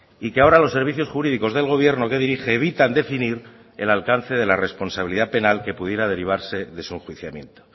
y que ahora los servicios jurídicos del gobierno que dirige evitan definir el alcance de la responsabilidad penal que pudiera derivarse de su enjuiciamiento